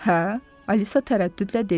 Hə, Alisa tərəddüdlə dedi.